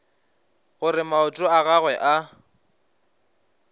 gore maoto a gagwe a